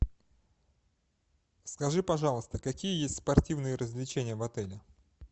скажи пожалуйста какие есть спортивные развлечения в отеле